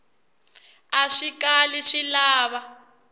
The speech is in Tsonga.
a swi kali swi lava